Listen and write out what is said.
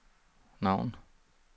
navn